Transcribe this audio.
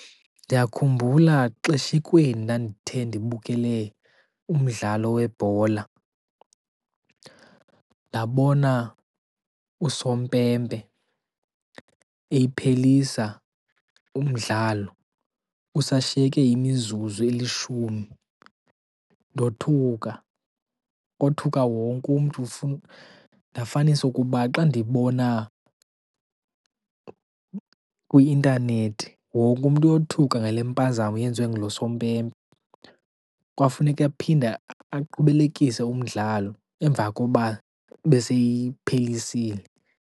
Ndiyakhumbula xeshikweni ndandithe ndibukele umdlalo webhola ndabona usompempe ephelisa umdlalo kusashiyeke imizuzu elishumi. Ndothuka, kothuka wonke umntu ndafanisa ukuba xa ndibona kwi-intanethi wonke umntu uyothuka ngale mpazamo yenziwe ngulo sompempe. Kwafuneka aphinda aqhubelekise umdlalo emva koba beseyiphelisile.